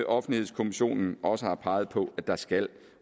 offentlighedskommissionen også har peget på at der skal